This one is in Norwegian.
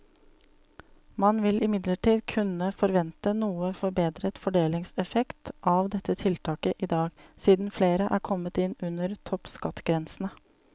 Man vil imidlertid kunne forvente noe forbedret fordelingseffekt av dette tiltaket i dag, siden flere er kommet inn under toppskattgrensene.